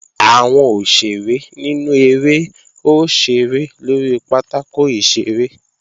Àwọn òṣèré nínú eré ó ṣeré lórí pátákò ìṣeré